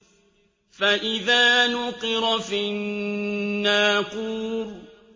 فَإِذَا نُقِرَ فِي النَّاقُورِ